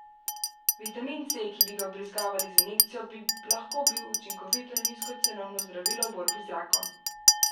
Vitamin C, ki bi ga vbrizgavali z injekcijo, bi lahko bil učinkovito in nizkocenovno zdravilo v borbi z rakom.